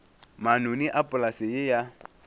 manoni a polase ye ya